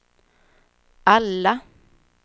alla